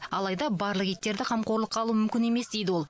алайда барлық иттерді қамқорлыққа алу мүмкін емес дейді ол